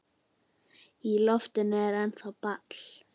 Í loftinu er ennþá ball.